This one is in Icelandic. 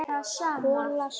Kolla sprakk.